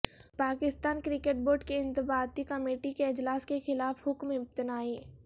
Pakistan cricket board کی انضباطی committee کے اجلاس کے خلاف حکم امتناعی